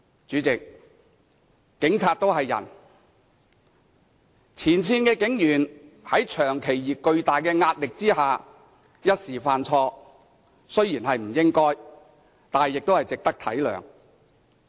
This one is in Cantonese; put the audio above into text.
主席，警察也是人，前線警員在長期而巨大的壓力下一時犯錯，雖然是不應該，但也值得體諒。